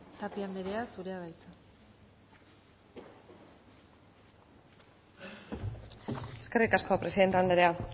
tapia andrea zurea da hitza eskerrik asko presidente andrea